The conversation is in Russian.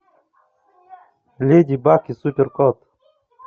леди баг и супер кот